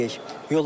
Nə deyək?